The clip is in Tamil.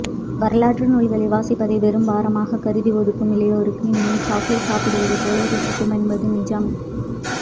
வரலாற்று நூல்களை வாசிப்பதை பெரும்பாரமாகக் கருதி ஒதுக்கும் இளையோருக்கு இந்நூல் சாக்லேட் சாப்பிடுவதைப் போல ருசிக்கும் என்பது நிஜம்